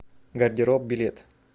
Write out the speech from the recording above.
гардероб билет